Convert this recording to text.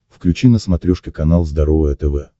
включи на смотрешке канал здоровое тв